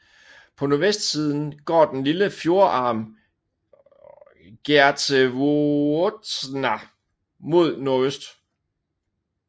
På nordvestsiden går den lille fjordarm Geazzevuotna mod nordøst